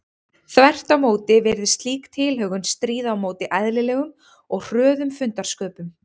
Þvert á móti virðist slík tilhögun stríða á móti eðlilegum og hröðum fundarsköpum.